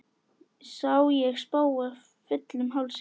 Sá ég spóa fullum hálsi.